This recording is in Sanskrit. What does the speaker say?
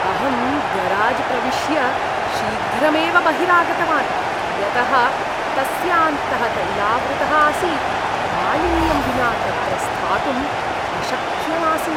अहम् गराज् प्रविष्य, शीघ्रमेव बहिरागतवान्। यतः तस्यान्तः तैलावृतः आसीत्, मालिन्यं विना तत्र स्थातुम् अशक्यम् आसीत्।